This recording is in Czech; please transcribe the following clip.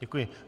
Děkuji.